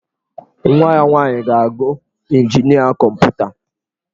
Nwa ya nwaanyị ga-agụ injinia kọmputa.